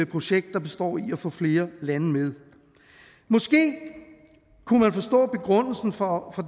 projekt der består i at få flere lande med måske kunne man forstå begrundelsen for